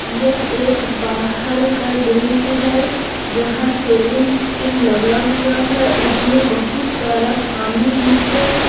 यह एक बाहर का दृश्य है यहां सेविंग पुल लगा हुआ है उसमें बहुत सारा पानी भी है।